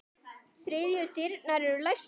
Þriðju dyrnar eru læstar.